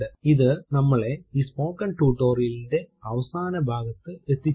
ഇത് നമ്മളെ ഈ സ്പോകെൻ ടുടോരിയലിന്റെ അവസാന ഭാഗതെതിച്ചിരുക്കുകയാണ്